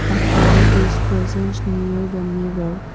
a toy is presents near the mirror.